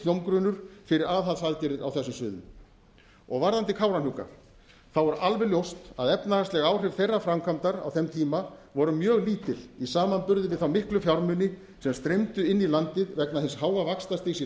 hljómgrunnur fyrir aðhaldsaðgerðir á þessum sviðum varðandi kárahnjúka er alveg ljóst að efnahagsleg áhrif þeirrar framkvæmdar á þeim tíma voru mjög lítil í samanburði við þá miklu fjármuni sem streymdu inn í landið vegna hins háa vaxtastigs í